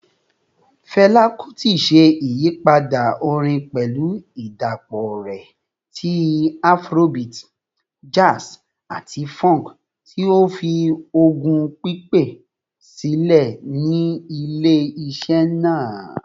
Fẹla Kuti ṣe iyipada orin pẹlu idapọ rẹ ti Afrobeat, jazz, ati funk, ti ​​o fi ogún pipẹ silẹ ni ile-iṣẹ naa.